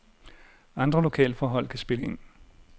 Andre lokalforhold kan spille ind.